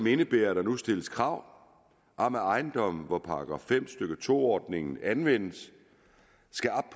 indebærer at der nu stilles krav om at ejendomme hvor § fem stykke to ordningen anvendes skal op